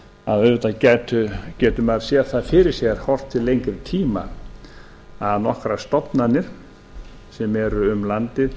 að auðvitað getur maður séð það fyrir sér horft til lengri tíma að nokkrar stofnanir sem eru um landið